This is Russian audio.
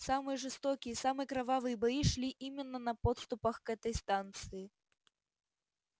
самые жестокие самые кровавые бои шли именно на подступах к этой станции